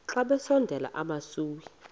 xa besondela emasuie